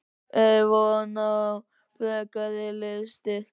Er von á frekari liðsstyrk?